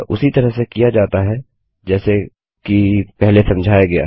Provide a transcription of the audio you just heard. यह उसी तरह से किया जाता है जैसे कि पहले समझाया गया है